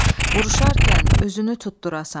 Vuruşarkən üzünü tutdurasan.